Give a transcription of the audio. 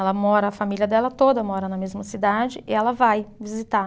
Ela mora, a família dela toda mora na mesma cidade e ela vai visitar.